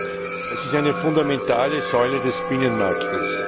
Sie ist eine fundamentale Säule des Binnenmarkts.